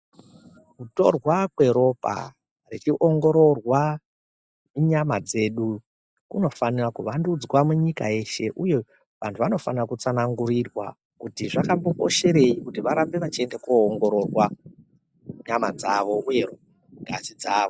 Kutorwa kweropa richiongororwa munyama dzedu, kunofanira kuvandudzwa munyika yeshe uye antu anofane kutsanangurirwa kuti zvakambokosherei, varambe vechiende koongororwa munyama dzavo uye ngazi dzavo.